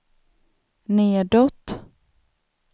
nedåt